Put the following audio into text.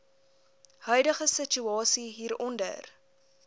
huidige situasie hieronder